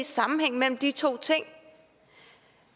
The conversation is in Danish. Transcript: sammenhæng mellem de to ting